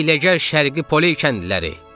Hiyləgər şərqi poli kəndliləri!